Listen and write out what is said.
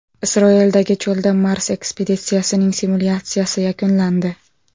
Isroildagi cho‘lda Mars ekspeditsiyasining simulyatsiyasi yakunlandi.